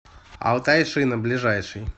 алтай шина ближайший